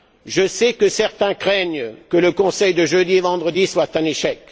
Je sais que certains craignent que le conseil de jeudi et vendredi soit un échec